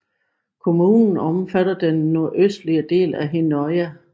Kommunen omfatter den nordøstlige del af Hinnøya